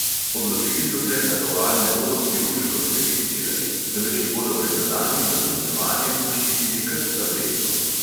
Odločili so se, da koal ne bodo kirurško sterilizirali, temveč jih bodo pred nadaljnjim razmnoževanjem zaščitili kar s tabletko.